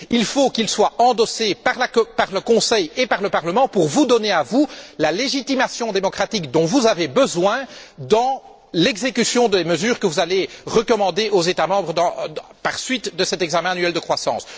Il faut qu'il soit endossé par le Conseil et par le Parlement pour vous donner à vous la légitimation démocratique dont vous avez besoin dans l'exécution des mesures que vous allez recommander aux États membres à la suite de cet examen annuel de croissance.